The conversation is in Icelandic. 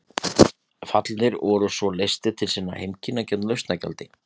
Fallnir voru svo leystir til sinna heimkynna gegn lausnargjaldi.